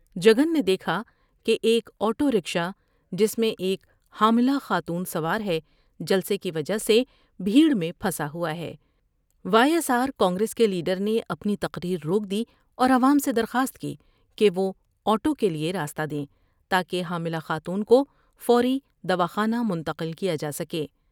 جگن نے دیکھا کہ ایک آٹو رکشا جس میں ایک حاملہ خاتون سوار ہے جلسے کی وجہ سے بھیٹر میں پھنسا ہوا ہے ، وائی ایس آرکانگریس کے لیڈر نے اپنی تقر یر روک دی اور عوام سے درخواست کی کہ وہ آٹو کے لیے راستہ دیں تا کہ حاملہ خاتون کوفوری دواخانہ منتقل کیا جا سکے۔